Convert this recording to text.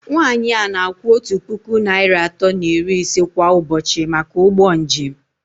Nwanyị a na-akwụ otu puku naịra atọ na iri ise kwa ụbọchị maka ụgbọ njem